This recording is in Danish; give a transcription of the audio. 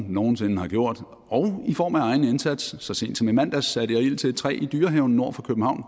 nogen sinde har gjort og i form af egen indsats så sent som i mandags satte jeg ild til et træ i dyrehaven nord for københavn